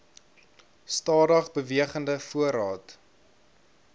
stadig bewegende voorraad